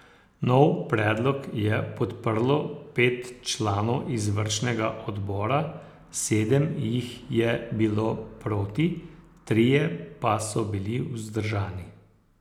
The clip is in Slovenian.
Nov predlog je podprlo pet članov izvršnega odbora, sedem jih je bilo proti, trije pa so bili vzdržani.